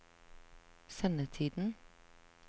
sendetiden